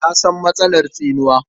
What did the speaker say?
Na san matsalar tsinuwa.